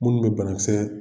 Minnu bɛ banakisɛ